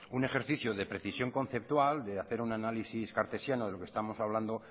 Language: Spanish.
un ejercicio de precisión conceptual de hacer un análisis cartesiano de lo que estamos hablando